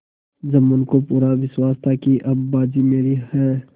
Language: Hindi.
जुम्मन को पूरा विश्वास था कि अब बाजी मेरी है